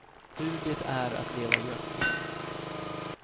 Hur det är att leva gömd.